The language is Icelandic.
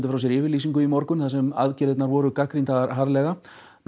frá sér yfirlýsingu í morgun þar sem aðgerðirnar voru gagnrýndar harðlega